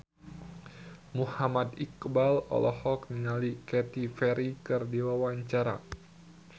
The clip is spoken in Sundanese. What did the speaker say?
Muhammad Iqbal olohok ningali Katy Perry keur diwawancara